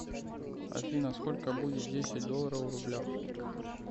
афина сколько будет десять долларов в рублях